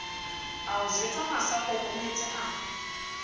a o jwetsa masaakokometse a